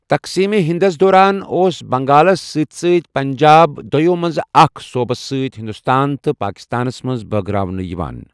تقسیم ہِندس دوران ، اوس بنگالس سٕتۍ سٕتۍ پنجاب دویو منزٕ اكھ صوبس سۭتۍ ہندوستان تہٕ پاكستانس منز بٲگراونہٕ یوان ۔